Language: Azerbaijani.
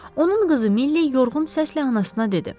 Onun qızı Milli yorğun səslə anasına dedi: